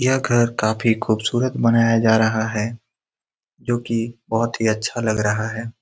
यह घर काफी खूबसूरत बनाया जा रहा है जो कि बहुत अच्छा लग रहा है।